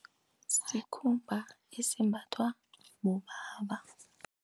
Sikhumba esimbathwa bobaba.